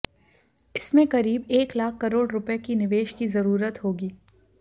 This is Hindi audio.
इसमें करीब एक लाख करोड़ रुपये के निवेश की जरूरत होगी